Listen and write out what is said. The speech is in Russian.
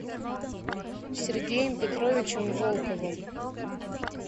сергеем петровичем волковым